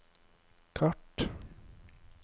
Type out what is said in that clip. kart